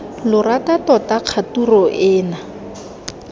lo rata tota kgature ena